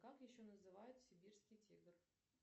как еще называют сибирский тигр